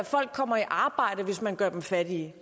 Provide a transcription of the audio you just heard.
folk kommer i arbejde hvis man gør dem fattige